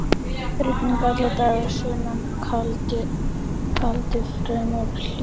Rigning allan daginn, sunnan kaldi, fremur hlýtt.